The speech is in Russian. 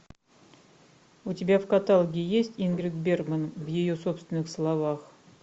у тебя в каталоге есть ингрид бергман в ее собственных словах